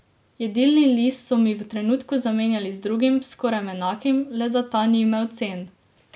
Jedilni list so mi v trenutku zamenjali z drugim, skoraj enakim, le da ta ni imel cen.